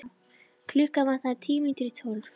Klukkuna vantaði tíu mínútur í tólf.